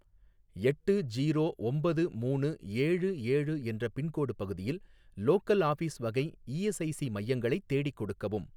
எட்டு ஜீரோ ஒம்பது மூணு ஏழு ஏழு என்ற பின்கோடு பகுதியில் லோக்கல் ஆஃபீஸ் வகை இஎஸ்ஐசி மையங்களைத் தேடிக் கொடுக்கவும்